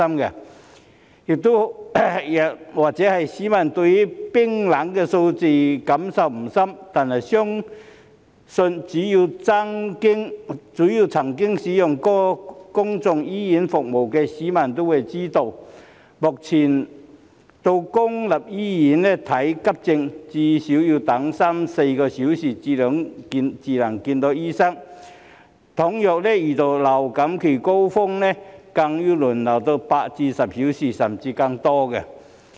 也許市民對冰冷的數字感受不深，但相信只要曾經使用過公立醫院服務的市民也會知道，目前到公立醫院看急症，最少要等三四小時才能見醫生；倘若遇到流感高峰期，更要輪候8至10小時，甚至更久。